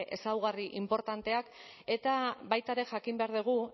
ezaugarri inportanteak eta baita ere jakin behar dugu